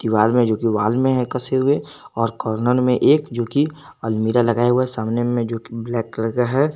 Wall में जो wall में है कसे हुए और कॉर्नर में एक जो की अलमीरा लगा हुआ सामने में जो की ब्लैक कलर का है।